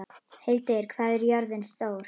Hildir, hvað er jörðin stór?